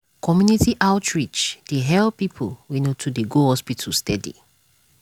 community outreach dey help people wey no too dey go hospital steady.